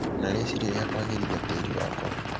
na rĩciria rĩa kũagĩrithia tĩri wakwa.